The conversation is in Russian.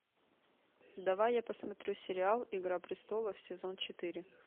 давай я посмотрю сериал игра престолов сезон четыре